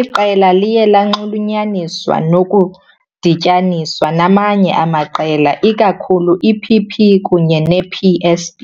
iqela liye lanxulunyaniswa nokudityaniswa namanye amaqela, ikakhulu iPP kunye nePSB.